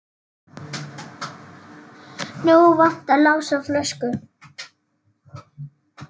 Nú vantar Lása flösku.